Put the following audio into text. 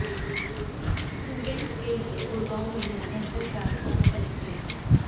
students के लिए गुड़गांव में है बेहतर ट्रांसपोर्ट कनेक्टिविटी